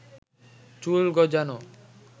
চুল গজানো